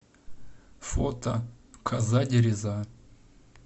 фото коза дереза